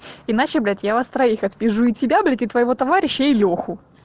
иначе блять я вас троих отпизжу и тебя блять и твоего товарища и лёху